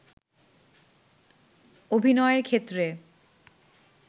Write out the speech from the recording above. অভিনয়ের ক্ষেত্রে